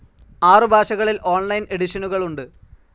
ആറു ഭാഷകളിൽ ഓൺലൈൻ എഡിഷനുകളുണ്ട്.